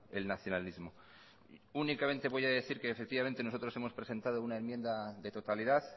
el nacionalismo únicamente voy a decir que nosotros hemos presentado una enmienda de totalidad